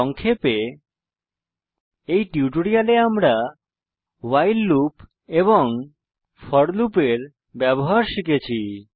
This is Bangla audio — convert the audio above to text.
সংক্ষেপে এই টিউটোরিয়ালে আমরা ভাইল লুপ এবং ফোর লুপের ব্যবহার শিখেছি